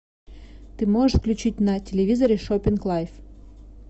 ты можешь включить на телевизоре шоппинг лайф